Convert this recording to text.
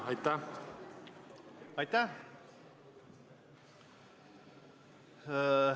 Aitäh!